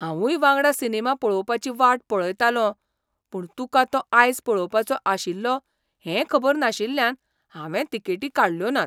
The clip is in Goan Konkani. हांवूय वांगडा सिनेमा पळोवपाची वाट पळयतालों, पूण तुका तो आयज पळोवपाचो आशिल्लो हें खबर नाशिल्ल्यान हांवें तिकेटी काडल्यो नात.